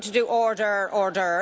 I'm not going to do Order, order!'